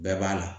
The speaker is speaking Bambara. Bɛɛ b'a la